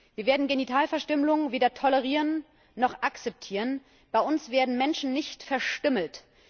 Wir werden Genitalverstümmelung weder tolerieren noch akzeptieren. Bei uns werden Menschen nicht verstümmelt.